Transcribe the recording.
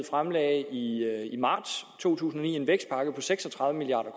fremlagde i marts to tusind og ni en vækstpakke på seks og tredive milliard